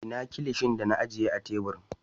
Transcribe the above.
Ina Kilishin da na ajiye a tebur?